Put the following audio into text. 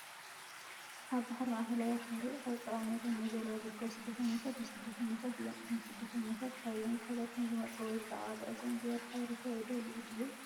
ኣብ ባሕሪ ማእከላይ ባሕሪ ኣብ ጽዑቕ ናይ ጎማ ጃልባ ዝርከቡ ስደተኛታት ወይ ስደተኛታት እዮም። እዞም ስደተኛታት ካብ ኣየነይቲ ሃገር ከም ዝመጹ ወይ ብዛዕባ ጉዕዞኦም ዝያዳ ሓበሬታ ይደልዩ ድዮም?